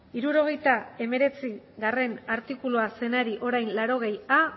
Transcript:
hirurogeita hemeretzigarrena artikulua zenari orain laurogeia